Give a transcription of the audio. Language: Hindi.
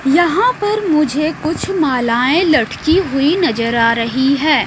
यहाँ पर मुझे कुछ मालाएं लटकी हुई नजर आ रही है।